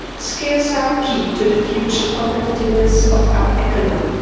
Skills are key to the future competitiveness of our economy.